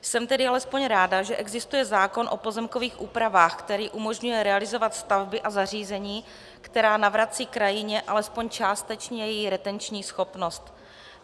Jsem tedy alespoň ráda, že existuje zákon o pozemkových úpravách, který umožňuje realizovat stavby a zařízení, která navracejí krajině alespoň částečně její retenční schopnost.